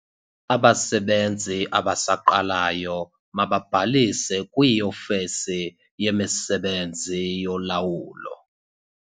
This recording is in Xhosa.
Abasebenzi abasaqalayo mababhalise kwiofisi yemisebenzi yolawulo.